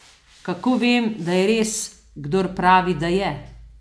Kako vem, da je res, kdor pravi, da je?